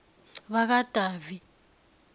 bakadavi